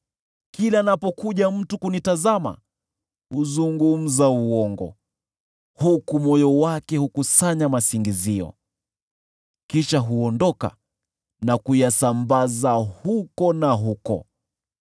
Kila anapokuja mtu kunitazama, huzungumza uongo, huku moyo wake hukusanya masingizio; kisha huondoka na kuyasambaza huku na huko.